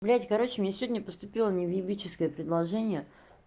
блять короче мне сегодня поступила невъебическое предложение